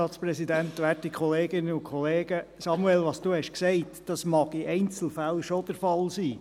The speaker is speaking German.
Samuel Leuenberger, was Sie gesagt haben, mag in Einzelfällen schon der Fall sein.